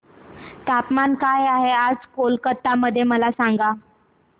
तापमान काय आहे आज कोलकाता मध्ये मला सांगा